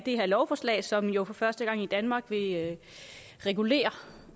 lovforslag som jo for første gang i danmark vil regulere